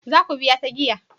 Za ku biya ta giya?